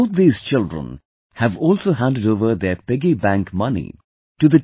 Both these children have also handed over their piggy bank money to the T